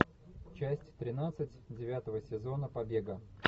часть тринадцать девятого сезона побега